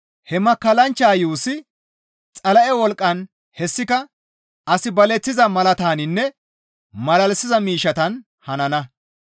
He makkallanchcha yuussi Xala7e wolqqan hessika as baleththiza malaatataninne malalisiza miishshatan hanana.